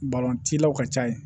ka ca yen